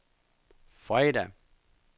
fredag